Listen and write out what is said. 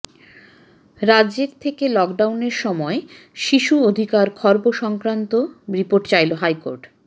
রাজ্যের থেকে লকডাউনের সময় শিশু অধিকার খর্ব সংক্রান্ত রিপোর্ট চাইল হাইকোর্ট